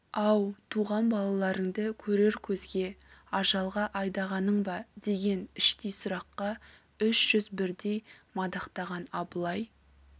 ау туған балаларыңды көрер көзге ажалға айдағаның ба деген іштей сұраққа үш жүз бірдей мадақтаған абылай